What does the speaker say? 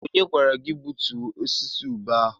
Onye gwara gị ka gbutuo osisi ube ahụ?